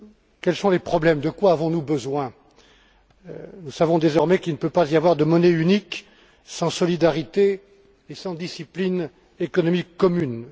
Quels sont les problèmes et de quoi avons nous besoin? Nous savons désormais qu'il ne peut y avoir de monnaie unique sans solidarité et sans discipline économique commune.